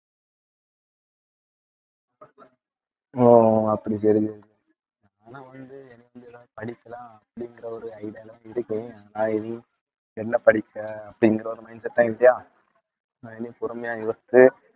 ஓ அப்படி சரி சரி ஆனா வந்து எனக்கு இதுதான் படிப்புதான் அப்படிங்கிற ஒரு idea ல இருக்கேன். என்ன படிச்ச அப்படிங்கற ஒரு mindset தான் இருக்கியா நான் இனி பொறுமையா யோசிச்சு